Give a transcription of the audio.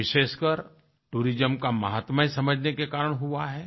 विशेषकर टूरिज्म का महत्म्य समझने के कारण हुआ है